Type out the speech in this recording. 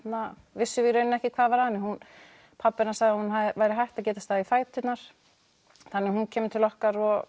vissum við í raun ekki hvað var að henni pabbi hennar sagði að hún væri hætt að geta staðið í fæturnar þannig hún kemur til okkar og